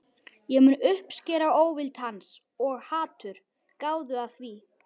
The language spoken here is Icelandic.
Ég mun uppskera óvild hans- og hatur, gáðu að því.